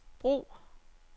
brug